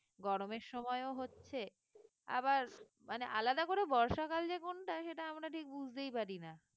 গরমের সময়ও হচ্ছে আবার মানে আলাদা করে বর্ষাকাল যে কোনটা সেটা আমরা ঠিক বুঝতেই পারি না